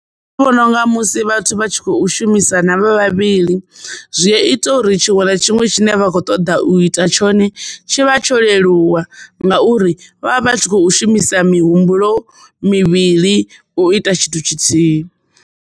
Nṋe ndi vhona unga musi vhathu vha tshi khou shumisa na vha vhavhili zwi a ita uri tshiṅwe na tshiṅwe tshine vha kho ṱoḓa u ita tshone tshi vha tsho leluwa ngauri vha vha vha tshi khou shumisa mihumbulo mivhili u ita tshithu tshithihi.